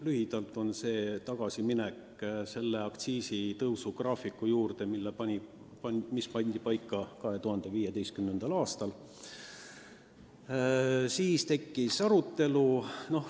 Lühidalt on see ettepanek minna tagasi selle aktsiisitõusu graafiku juurde, mis pandi paika 2015. aastal.